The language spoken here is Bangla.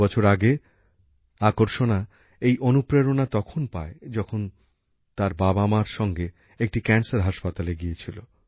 দু বছর আগে আকর্ষণা এই অনুপ্রেরণা তখন পায় যখন সে তার মাবাবার সঙ্গে একটি ক্যান্সার হাসপাতালে গিয়েছিল